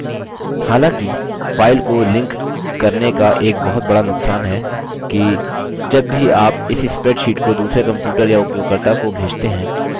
हालाँकि file को link करने का एक बहुत बड़ा नुक्सान है कि जब भी आप इस spreadsheet को दूसरे computer या उपयोगकर्ता को भेजते हैं